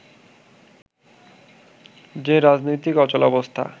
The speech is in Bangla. যে রাজনৈতিক অচলাবস্থা